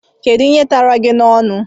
Kedụ ihe tara gị n'ọnu?